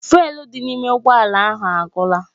Fụ́élú dị n'ime ụgbọ ala ahụ agwụla